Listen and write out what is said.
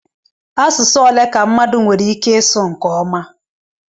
Asụsụ ole ka mmadụ nwere ike ịsụ nke ọma?